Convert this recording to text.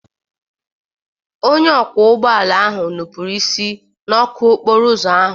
Onye ọkwọ ụgbọ ala ahụ nupụrụ isi n'ọkụ okporo ụzọ ahụ.